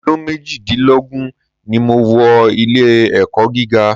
Ọdún méjìdínlógún ni mo wọ ilé-ẹ̀kọ́ gíga.